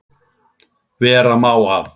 Vera má að